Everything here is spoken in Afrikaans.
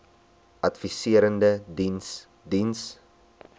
adviserende diens diens